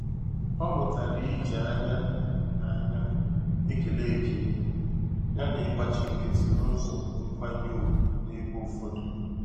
Ọ mụtara iji ányá na ányá ékélé ekele yá na ịgbachi nkịtị n'ụzọ nkwanye ùgwù n'ebe ụfọdụ.